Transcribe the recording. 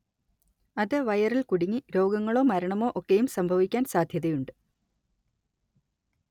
അത് വയറിൽ കുടുങ്ങി രോഗങ്ങളോ മരണമോ ഒക്കെയും സംഭവിക്കാൻ സാധ്യതയുണ്ട്